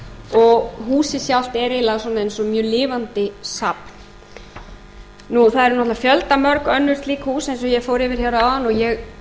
og húsið sjálft er eiginlega svona eins og lifandi hafa það eru náttúrlega fjöldamörg önnur slík hús eins og ég fór yfir hér áðan